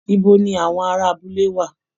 Ibo ni àwọn ará abúlé wà?